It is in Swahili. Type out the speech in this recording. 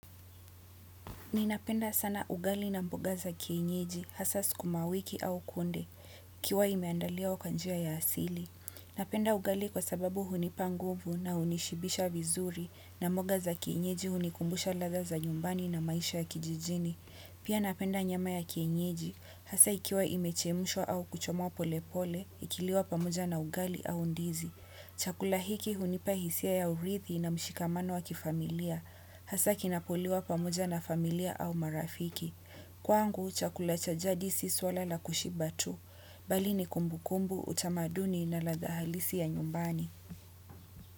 Ninapenda sana ugali na mboga za kienyeji, hasa sukuma wiki au kunde, ikiwa imeandaliwa kwa njia ya asili. Napenda ugali kwa sababu hunipa nguvu na hunishibisha vizuri, na mboga za kienyeji hunikumbusha ladha za nyumbani na maisha ya kijijini. Pia napenda nyama ya kienyeji, hasa ikiwa imechemshwa au kuchomwa polepole, ikiliwa pamoja na ugali au ndizi. Chakula hiki hunipa hisia ya urithi na mshikamano wa kifamilia. Hasa kinapoliwa pamoja na familia au marafiki. Kwangu, chakula cha jadi si swala la kushiba tu bali ni kumbukumbu, utamaduni na ladha halisi ya nyumbani.